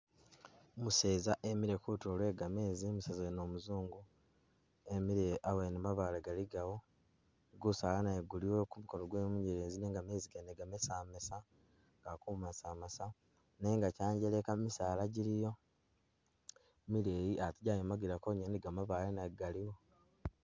Umuseza emile kutulo lwe gameezi umuseza wene umuzungu emile awene mabaale galigawo gusaala naye guliwo kumukono gwewe munyelezi nenga meezi gene gamesamesa gali kumasamasa nenga kyanjeleka misaala giliyo mileyi atee gyayimakila kwonyene ni gamabaale nago galiyo.